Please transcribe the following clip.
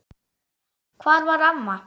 Hvar var mamma?